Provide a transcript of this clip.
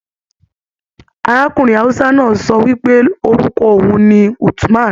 Arákùnrin Hausa náà sọ wipe orúkọ oun ní Uthman.